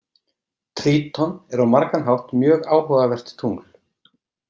Tríton er á margan hátt mjög áhugavert tungl.